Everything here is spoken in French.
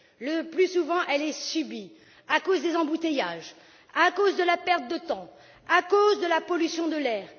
le plus souvent, elle est subie, à cause des embouteillages, à cause de la perte de temps, à cause de la pollution de l'air.